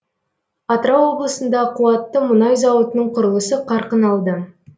атырау облысында қуатты мұнай зауытының құрылысы қарқын алды